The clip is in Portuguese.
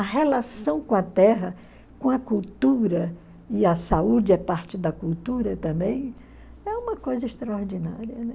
A relação com a terra, com a cultura, e a saúde é parte da cultura também, é uma coisa extraordinária.